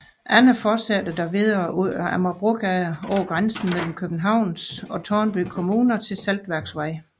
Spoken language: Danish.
Andre fortsætter dog videre ud ad Amagerbrogade over grænsen mellem Københavns og Tårnby Kommuner til Saltværksvej